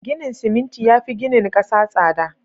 Ginin siminti yafi ginin 'kasa tsada